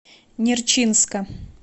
нерчинска